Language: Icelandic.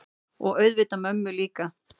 Og auðvitað mömmu líka.